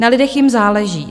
Na lidech jim záleží.